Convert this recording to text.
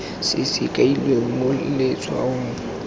se se kailweng mo letshwaong